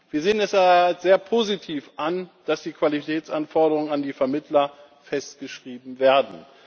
Wir sehen es als sehr positiv an, dass die Qualitätsanforderungen an die Vermittler festgeschrieben werden.